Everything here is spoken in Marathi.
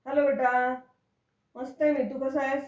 हॅलो बेटा, मस्त आहे मी. तू कसा आहेस?